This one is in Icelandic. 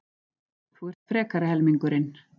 Þú ert frekari helmingurinn.